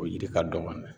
O yiri ka dɔgɔ n'o ye